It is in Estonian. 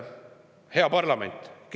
Hea parlament!